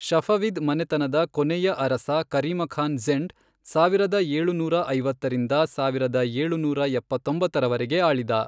Safavid ಮನೆತನದ ಕೊನೆಯ ಅರಸ ಕರೀಮಖಾನ್ ಝೆಂಡ್ ಸಾವಿರದ ಏಳುನೂರ ಐವತ್ತರಿಂದ ಸಾವಿರದ ಏಳುನೂರ ಎಪ್ಪತ್ತೊಂಬತ್ತರವರೆಗೆ ಆಳಿದ.